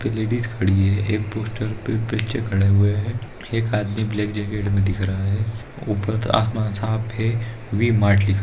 एक लेडिस खड़ी है एक पोस्टर पे बच्चे खड़े हुए है एक आदमी ब्लैक जैकेट में दिख रहा है ऊपर आसमान साफ है वी मार्ट लिखा --